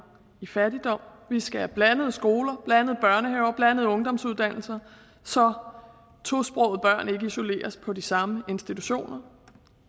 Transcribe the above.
i fattigdom vi skal have blandede skoler blandede børnehaver blandede ungdomsuddannelser så tosprogede børn ikke isoleres på de samme institutioner